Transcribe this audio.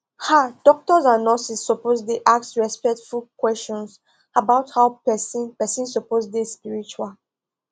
ah doctors and nurses suppose dey ask respectful questions about how person person suppose dey spiritual